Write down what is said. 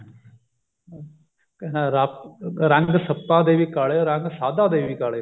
ਕਹਿੰਦਾ ਰੰਗ ਸੱਪਾਂ ਦੇ ਵੀ ਕਾਲੇ ਰੰਗ ਸਾਧਾਂ ਦੇ ਵੀ ਕਾਲੇ